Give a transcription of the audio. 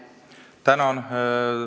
Tänan!